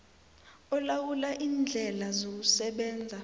olawula iindlela zokusebenza